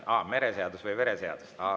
Aa, mereseadus või vereseadus.